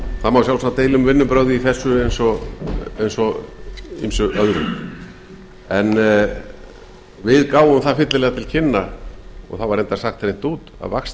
það má sjálfsagt deila um vinnubrögð í þessu eins og ýmsu öðru en við gáfum það fyllilega til kynna og það var reyndar sagt hreint út að